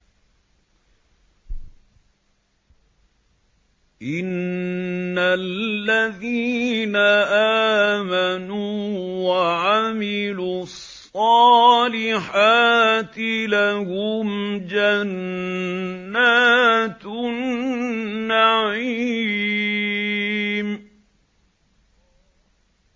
إِنَّ الَّذِينَ آمَنُوا وَعَمِلُوا الصَّالِحَاتِ لَهُمْ جَنَّاتُ النَّعِيمِ